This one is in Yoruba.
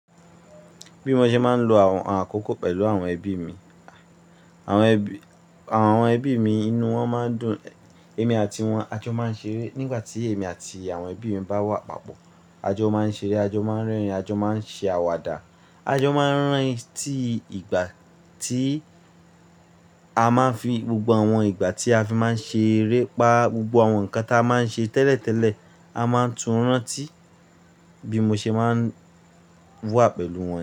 Bí mo ṣe máa ń lo àwọn àkókò pẹ̀lú àwọn ẹbí mi. Àwọn ẹbí mi inú wọn máa ń dùn. Èmi àti wọn, àjọ máa ń ṣeré. Nígbà tí èmi àti àwọn ẹbí mi bá wà papọ̀, àjọ máa ń ṣeré, àjọ máa ń rẹ́rìn-ín, àjọ máa ń ṣe àwàdà, àjọ máa ń rántí ìgbà A máa ń fi, gbogbo àwọn ìgbà tí a fi máa ń ṣeré'pa gbogbo àwọn nǹkan tí a máa ń ṣe tẹ́lẹ̀tẹ́lẹ̀, a máa ń tún rántí bí mo ṣe máa ń wà pẹ̀lú wọn.